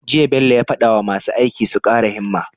Jiya Bello ya fada wa masu aiki su kara himma